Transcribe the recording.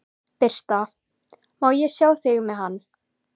Birta: Má ég sjá þig með hann?